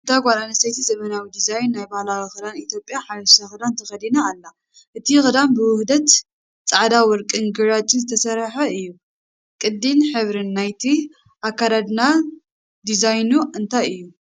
እታ ጓል ኣንስተይቲ ዘመናዊ ዲዛይን ናይ ባህላዊ ክዳን ኢትዮጵያ (ሓበሻ ክዳን) ተኸዲና ኣላ። እቲ ክዳን ብውህደት ጻዕዳን ወርቅን ግራጭን ዝተሰርሐ እዩ። ቅዲን ሕብርን ናይቲ ኣከዳድና ዲዛይኑ እንታይ እዩ?